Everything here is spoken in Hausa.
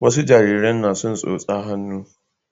wasa jaririn na son tsotsan hannu